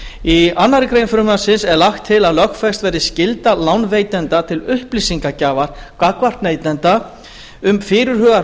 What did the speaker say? í annarri grein frumvarpsins er lagt til að lögfest verði skylda lánveitanda til upplýsingagjafar gagnvart neytanda um fyrirhugaðar